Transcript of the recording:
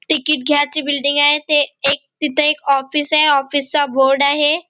Ticket घ्यायची building आहे ते एक तिथ एक ऑफिस ए ऑफिस चा बोर्ड आहे.